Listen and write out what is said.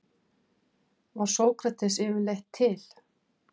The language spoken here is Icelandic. Var Sókrates yfirleitt til?